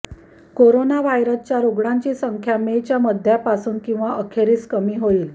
corona व्हायरसच्या रुग्णांची संख्या मेच्या मध्यापासून कींवा अखेरीस कमी होईल